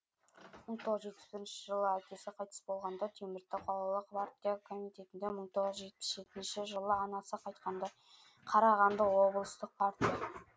мың тоғыз жүз жетпіс бірінші жылы әкесі қайтыс болғанда теміртау қалалық партия комитетінде мың тоғыз жүз жетпіс жетінші жылы анасы қайтқанда қарағанды облыстық партия